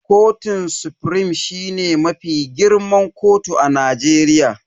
Kotun sufrim shine mafi girman kotu a Najeriya.